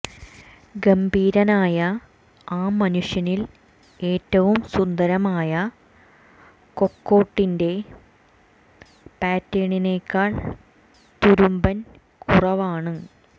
ഗംഭീരനായ ആ മനുഷ്യനിൽ ഏറ്റവും സുന്ദരമായ കൊക്കോട്ടിന്റെ പാറ്റേണിനെക്കാൾ തുരുമ്പൻ കുറവാണ്